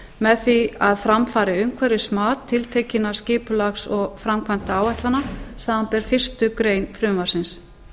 með því að fram fari umhverfismat tiltekinna skipulags og framkvæmdaáætlana samanber fyrstu grein frumvarpsins